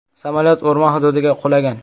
Samolyot o‘rmon hududiga qulagan.